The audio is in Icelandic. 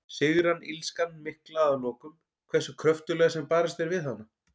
Sigrar illskan mikla að lokum, hversu kröftuglega sem barist er við hana?